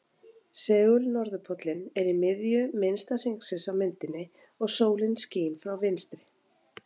Segul-norðurpóllinn er í miðju minnsta hringsins á myndinni og sólin skín frá vinstri.